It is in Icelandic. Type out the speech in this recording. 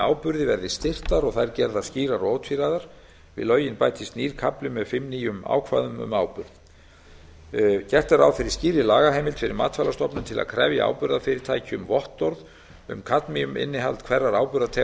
áburði verði styrktar og þær gerðar skýrar og ótvíræðar við lögin bætist nýr kafli með fimm nýjum ákvæðum um áburð gert er ráð fyrir skýrri lagaheimild fyrir matvælastofnun til að krefja áburðarfyrirtæki um vottorð um kadmíuminnihald